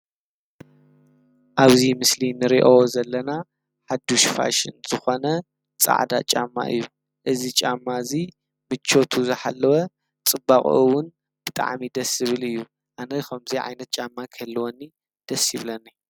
ኣብዚ ምስሊ እንርእዮ ዘለና ሓዱሽ ፋሽን ዝኮነ ፃዕዳ ጫማ እዩ፤ እዚ ጫማ እዚ ምቸቱ ዝሓለወ ፅባቁኡ እዉን ብጣዕሚ ደስ ዝብል እዩ ኣነ ከምዚ ዓይነት ጫማ ክህልወኒ ደስ ይብለኒ።